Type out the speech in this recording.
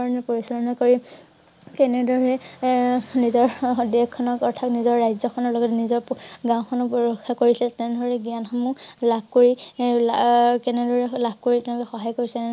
কৰি কেনে ধৰণে এ~নিজৰ হ~হ দেশ খনৰ অৰ্থাৎ নিজৰ দেশ খনৰ লগত নিজৰ গাওঁ খনকো ৰক্ষা কৰিছিল তেনে দৰে জ্ঞান সমূহ লাভ কৰি এ~লা~কেনে দৰে লাভ কৰি তেওঁ লোকে সহায় কৰিছে